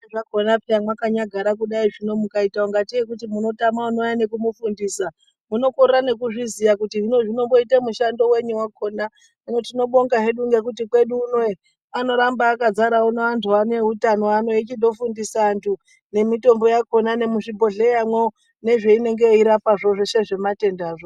Zviro zvakhona peya mwakanyagara kudai zvino mukaite ungatei munotama unouya neku mufundisa munokorera nekuzviziya kuti hino zvinomboyite mushando wenyi wakhona. Hino tinobonga hedu ngekuti kwedu uno ee unoramba akadzara antu ano eutano ano echindo fundisa antu nemitombo yakhona nemuzvi bhedhleyamwo nezveinonge yeirapazvo zveshe zvematendazvo.